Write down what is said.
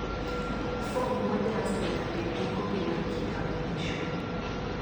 fom mojas nyaka bed gi kopi mar kitabulisho